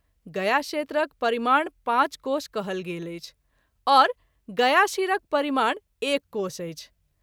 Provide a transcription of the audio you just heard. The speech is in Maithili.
गया क्षेत्रक परिमाण पाँच कोश कहल गेल अछि आओर गयाशिरक परिमाण एक कोश अछि।